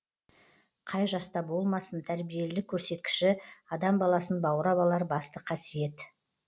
қай жаста болмасын тәрбиелілік көрсеткіші адам баласын баурап алар басты қасиет